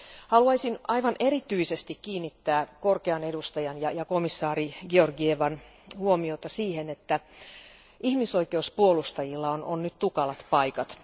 Haluaisin aivan erityisesti kiinnittää korkean edustajan ja komissaari Georgievan huomion siihen, että ihmisoikeuspuolustajilla on nyt tukalat paikat.